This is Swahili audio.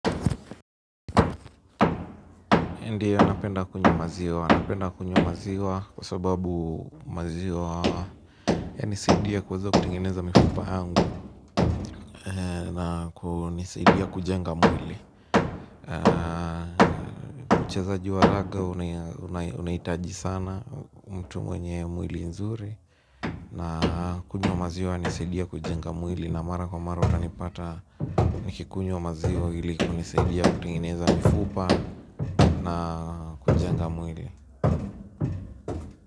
Ndio napenda kunywa maziwa napenda kunywa maziwa kwa sababu maziwa yanisaidia kuweza kutengeneza mifupa yangu na kunisaidia kujenga mwili. Uchezaji wa raga unahitaji sana mtu mwenye mwili nzuri na kunywa maziwa yanisaidia kujenga mwili na mara kwa mara watanipata nikikunywa maziwa ili kunisaidia kutengeneza mifupa na kujenga mwili.